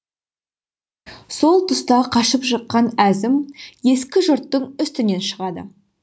сол тұста қашып шыққан әзім ескі жұрттың үстінен шығады